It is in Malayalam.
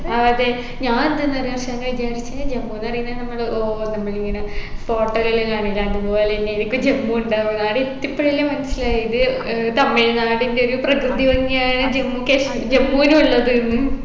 ആ അതെ ഞാൻ എന്തന്നറിയ അർഷാന വിചാരിച്ചെ ജമ്മുന്ന് പറയുന്നെ നമ്മള് ഏർ നമ്മളിങ്ങന photo ൽ എല്ലും കാണില്ലേ അതുപോലെ എന്നെരിക്കും ജമ്മു ഉണ്ടാവ ആടെ എത്തിയപ്പോഴല്ലെ മനസ്സിലായത് ഏർ തമിഴ്നാടിൻെറ ഒരു പ്രകൃതിഭംഗിയായ ജമ്മു കാശ് ജമ്മുലുള്ളതെന്ന്